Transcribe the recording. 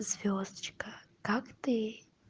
звёздочка как ты